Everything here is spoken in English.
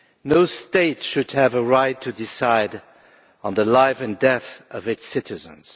No state should have a right to decide on the life and death of its citizens.